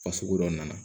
Fasugu dɔ nana